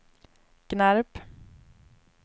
Gnarp